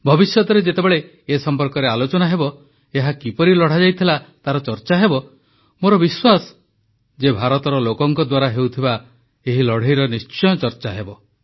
ଭବିଷ୍ୟତରେ ଯେତେବେଳେ ଏ ସମ୍ପର୍କରେ ଆଲୋଚନା ହେବ ଏହା କିପରି ଲଢ଼ାଯାଇଥିଲା ତାର ଚର୍ଚ୍ଚା ହେବ ମୋର ବିଶ୍ୱାସ ଯେ ଭାରତର ଲୋକଙ୍କ ଦ୍ୱାରା ହେଉଥିବା ଏହି ଲଢ଼େଇର ନିଶ୍ଚୟ ଚର୍ଚ୍ଚା ହେବ